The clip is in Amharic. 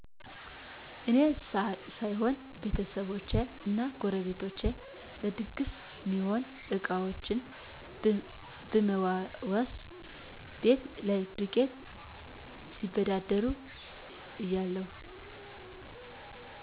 እኔ ሳይሆን ቤተሰቦቸ እና ጎረቤቶቸ ለድግስ ሚሆኑ እቃዎችን ብመዋዋስ፣ ቤት ላይ ዱቄት ሲበዳደሩ እያለሁ።